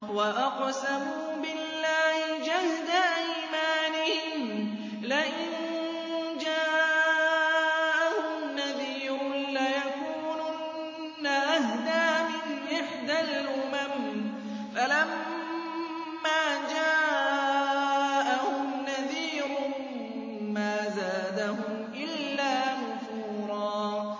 وَأَقْسَمُوا بِاللَّهِ جَهْدَ أَيْمَانِهِمْ لَئِن جَاءَهُمْ نَذِيرٌ لَّيَكُونُنَّ أَهْدَىٰ مِنْ إِحْدَى الْأُمَمِ ۖ فَلَمَّا جَاءَهُمْ نَذِيرٌ مَّا زَادَهُمْ إِلَّا نُفُورًا